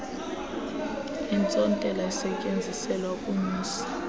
intsontela esetyenziselwa ukunyusa